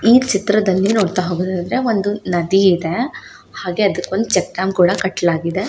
ಈ ಚಿತ್ರದಲ್ಲಿ ನೋಡತ್ತಾ ಹೋಗೋದಾದ್ರೆ ಒಂದು ನದಿ ಇದೆ ಹಾಗೆ ಅದಕ್ಕೆ ಚಟ್ಟಂ ಕೂಡ ಕತ್ತ್ಲಾಗಿದೆ.